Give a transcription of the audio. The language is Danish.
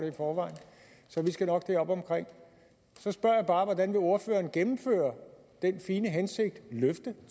i forvejen så vi skal nok derop omkring så spørger jeg bare hvordan ordføreren vil gennemføre den fine hensigt løfte